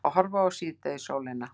Að horfa á síðdegissólina.